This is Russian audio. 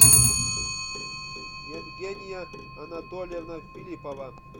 евгения анатольевна филиппова